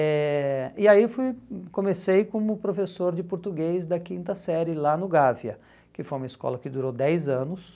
Eh e aí fui hum comecei como professor de português da quinta série lá no Gávea, que foi uma escola que durou dez anos.